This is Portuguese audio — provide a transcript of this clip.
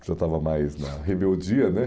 já estava mais na rebeldia, né?